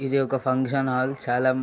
ఇది ఒక function hall చాలా --